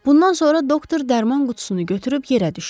Bundan sonra doktor dərman qutusunu götürüb yerə düşdü.